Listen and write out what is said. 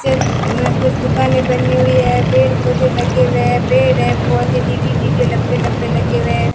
कुछ दुकानें बनी हुई है पेड़-पौधे लगे हुए हैं पेड़ हैं बहुत ही डिगी-डिगी लंबे-लंबे लगे हुए हैं।